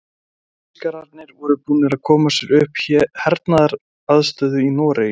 Þýskararnir voru búnir að koma sér upp hernaðaraðstöðu í Noregi.